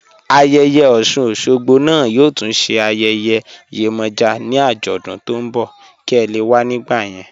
Ayéyè Osun-Osogbo naá yóò tún sé ayéyè Yemoja ni ajódún tó n bọ̀ kí è lè wà nígbà yẹn